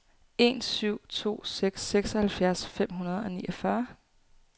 en syv to seks seksoghalvfjerds fem hundrede og niogfyrre